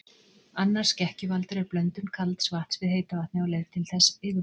Annar skekkjuvaldur er blöndun kalds vatns við heita vatnið á leið þess til yfirborðs.